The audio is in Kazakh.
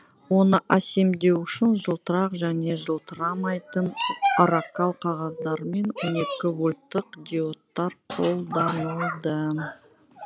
оны әсемдеу үшін жылтырақ және жылтырамайтын оракал қағаздар мен он екі вольттық диодтар қолданылды